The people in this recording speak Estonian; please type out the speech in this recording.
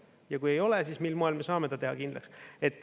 Ja kui ei ole, siis mil moel me saame ta teha kindlaks.